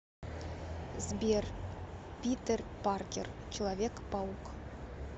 сбер питер паркер человек паук